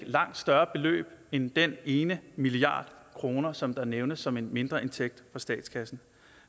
langt større beløb end den ene milliard kroner som der nævnes som en mindreindtægt for statskassen